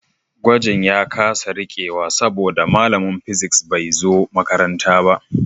Gwajin ya kasa rikewa saboda malamin physics bai zo makaranta ba